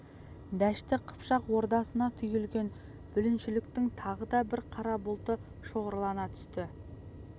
дәшті қыпшақ ордасына түйілген бүліншіліктің тағы да бір қара бұлты шоғырлана түсті